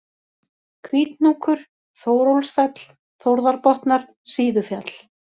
Hvíthnúkur, Þórólfsfell, Þórðarbotnar, Síðufjall